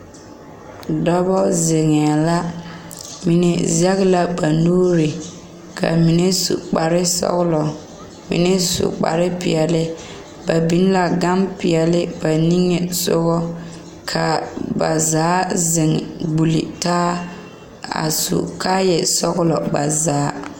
Dɔba zeŋee la mine sege la ba nuure a mine su kpar sɔgelɔ mine su kpar peɛle ba biŋ la gan peɛle ba niŋe soga kaa ba zaa zeŋ gbuli taa a su kaayɛ sɔgelɔ ba zaa